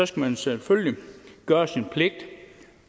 skal man selvfølgelig gøre sin pligt